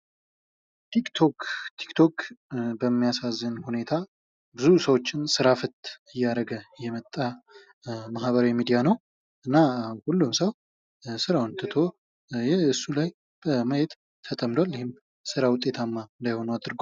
ቲክ ቶክ ቲክ ቶክ በሚያሳዝን ሁኔታ ብዙ ሰዎችን ስራት ፈት እያደረገ የመጣ ማህበራዊ ሚዲያ ነው:: እና ሁሉም ሰው ራውን ትቶ እሱ ላይ በማየት ተደምጧል ይህም ስራ ውጤታማ እንዳይሆን አድርጓል ::